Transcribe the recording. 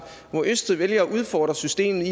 hvor østrig vælger at udfordre systemet